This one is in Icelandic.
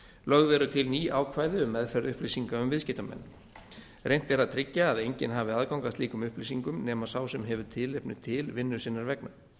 lögð eru til ný ákvæði um meðferð upplýsinga um viðskiptamenn reynt er að tryggja að enginn hafi aðgang að slíkum upplýsingum nema sá sem hefur tilefni til vinnu sinnar vegna